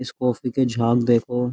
इस कॉफ़ी के झाग देखो।